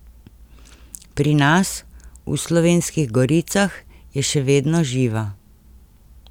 Pri nas, v Slovenskih Goricah, je še vedno živa.